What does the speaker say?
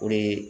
O de ye